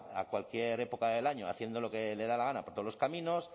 a cualquier época del año haciendo lo que le da la gana por todos los caminos